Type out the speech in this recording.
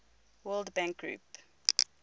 world bank group